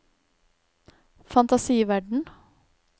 fantasiverden